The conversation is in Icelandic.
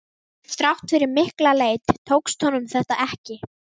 Þrátt fyrir mikla leit tókst honum þetta ekki.